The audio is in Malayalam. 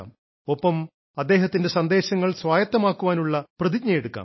ഒപ്പം അദ്ദേഹത്തിന്റെ സന്ദേശങ്ങൾ സ്വായത്തമാക്കാനുള്ള പ്രതിജ്ഞയെടുക്കാം